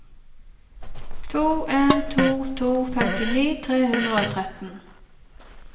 to en to to femtini tre hundre og tretten